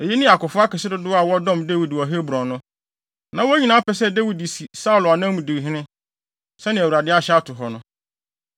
Eyinom ne akofo akɛse dodow a wɔdɔm Dawid wɔ Hebron no. Na wɔn nyinaa pɛ sɛ Dawid si Saulo anan mu di hene, sɛnea Awurade ahyɛ ato hɔ no.